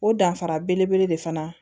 O danfara belebele de fana